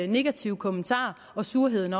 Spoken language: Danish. negative kommentarer og surheden